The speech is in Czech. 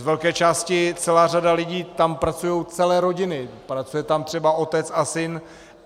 Z velké části celá řada lidí, tam pracují celé rodiny, pracuje tam třeba otec a syn.